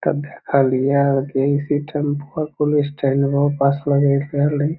भीतर मे खलिया हेय की एहीसी टेंपूआ कुन स्टाइल में होअ पास --